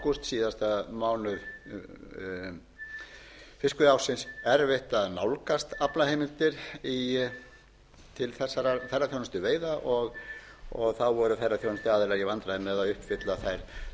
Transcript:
ágúst síðasta mánuð fiskveiðiársins erfitt að nálgast aflaheimildir til þessara ferðaþjónustuveiða þá voru ferðaþjónustuaðilar í vandræðum með að uppfylla þau skilyrði og þær